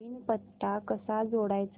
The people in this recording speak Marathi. नवीन पत्ता कसा जोडायचा